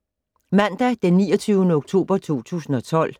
Mandag d. 29. oktober 2012